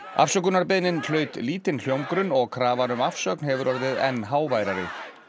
afsökunarbeiðnin hlaut lítinn hljómgrunn og krafan um afsögn hefur orðið enn háværari